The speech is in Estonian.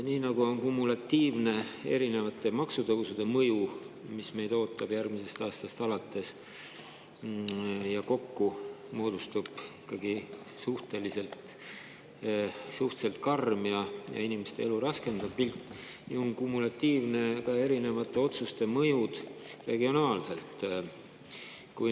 Nii nagu on kumulatiivne erinevate maksutõusude mõju, mis meid ootavad järgmisest aastast alates ja millest moodustub kokku ikkagi suhteliselt karm ja inimeste elu raskendav pilt, nii on kumulatiivne ka erinevate otsuste mõju regionaalselt.